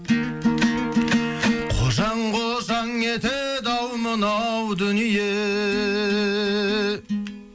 қожаң қожаң етеді ау мынау дүние